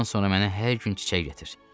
Bundan sonra mənə hər gün çiçək gətir.